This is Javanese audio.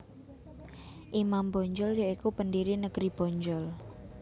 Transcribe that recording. Imam Bonjol ya iku pendiri negeri Bonjol